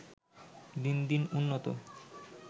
দিন দিন উন্নত